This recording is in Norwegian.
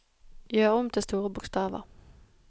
Gjør om til store bokstaver